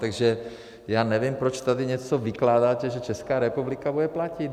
Takže já nevím, proč tady něco vykládáte, že Česká republika bude platit.